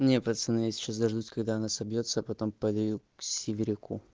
не пацаны я сейчас дождусь когда она соберётся а потом пойду к северяку